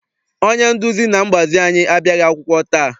Onye nduzi na mgbazi anyị abịaghị akwụkwọ taa.